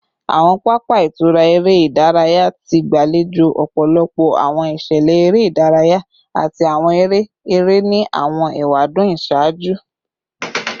Awọn papa itura ere idaraya ti gbalejo ọpọlọpọ awọn iṣẹlẹ ere idaraya ati awọn ere ere ni awọn ewadun iṣaaju